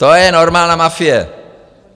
To je normální mafie.